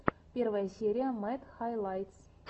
первая серия мэд хайлайтс